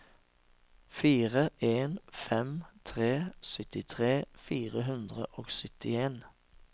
fire en fem tre syttitre fire hundre og syttien